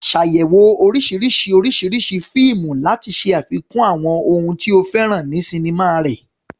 Ṣàyẹ̀wò oríṣiríṣi oríṣiríṣi fíìmù láti ṣe àfikún àwọn ohun tí o fẹ́ràn sinimá rẹ.